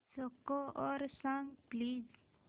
score सांग please